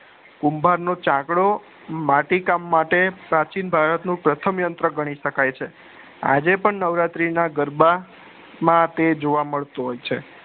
કુભાર નો ચાકડો માટી કામ માટે પ્રાચીન ભારત પથમ યંત્ર ઘણી શક્ય છે આજે પણ નવરાત્રી ના ગરબા માં તે જોવા મળતું હોય છે